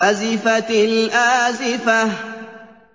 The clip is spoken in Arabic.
أَزِفَتِ الْآزِفَةُ